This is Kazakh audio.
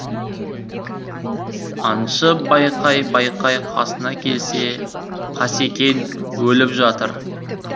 аңшы байқай байқай қасына келсе қасекең өліп жатыр